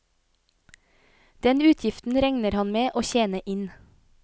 Den utgiften regner han med å tjene inn.